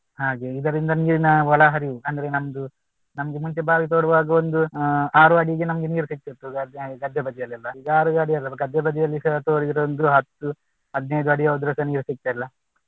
ಹಾಗೆ ಇದರಿಂದ ನೀರಿನ ಒಳಹರಿವು ಅಂದ್ರೆ ನಮ್ದು ನಮ್ದು ಮುಂಚೆ ಬಾವಿ ತೋಡುವಾಗ ಒಂದು ಅಹ್ ಆರು ಅಡಿಗೆ ನಮ್ಗೆ ನೀರು ಸಿಕ್ತಾ ಇತ್ತು. ಗದ್ದೆ ಬದಿಯಲ್ಲೆಲ್ಲ ಈಗ ಆರು ಅಡಿಯಲ್ಲ ಗದ್ದೆ ಬದಿಯಲ್ಲಿಸಾ ತೋಡಿದ್ರು ಒಂದು ಹತ್ತು ಹದ್ನಾಯ್ದು ಅಡಿ ಹೊದ್ರುಸ ನೀರು ಸಿಕ್ತಿಲ್ಲ.